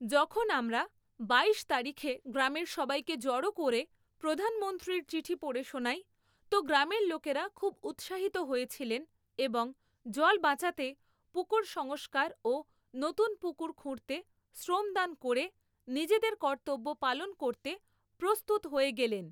যখন আমরা বাইশ তারিখে গ্রামের সবাইকে জড়ো করে প্রধানমন্ত্রীর চিঠি পড়ে শোনাই, তো গ্রামের লোকেরা খুব উৎসাহিত হয়েছিলেন এবং জল বাঁচাতে পুকুর সংষ্কার ও নতুন পুকুর খুঁড়তে শ্রমদান করে নিজেদের কর্তব্য পালন করতে প্রস্তুত হয়ে গেলেন।